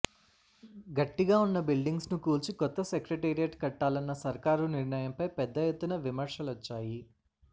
గట్టిగా ఉన్న బిల్డింగ్స్ ను కూల్చి కొత్త సెక్రటేరియట్ కట్టాలన్న సర్కారు నిర్ణయంపై పెద్ద ఎత్తున విమర్శలొచ్చాయి